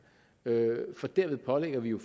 for derved pålægger vi jo